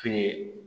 Fini